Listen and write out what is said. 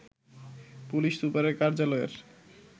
police super কার্যালয়ের